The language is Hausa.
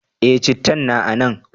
Eh, cittan na a nan.